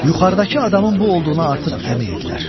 Yuxarıdakı adamın bu olduğuna artıq əmin idilər.